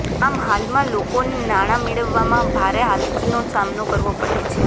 આમ હાલમાં લોકોને નાણાં મેળવવામાં ભારે હાલાકીનો સામનો કરવો પડે છે